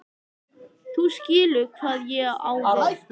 þú skilur hvað ég á við.